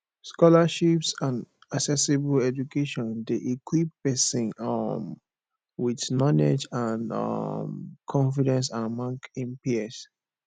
scholarships and accessible education de equip persin um with knowlegde and um confidence among him peers